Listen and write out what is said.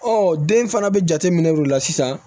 den fana bɛ jate minɛ olu la sisan